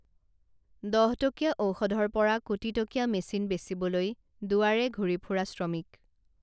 দহটকীয়া ঔষধৰ পৰা কোটীটকীয়া মেচিন বেচিবলৈ দুৱাৰে ঘুৰি ফুৰা শ্ৰমিক